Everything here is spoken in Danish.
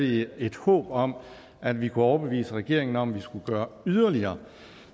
vi et håb om at vi kunne overbevise regeringen om at vi skulle gøre yderligere